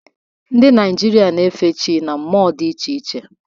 Ndị Naịjirịa na-efe chi na mmụọ dị iche iche.